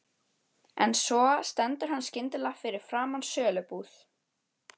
En svo stendur hann skyndilega fyrir framan sölubúð